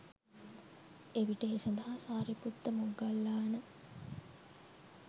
එවිට ඒ සඳහා සාරිපුත්ත මොග්ගල්ලාන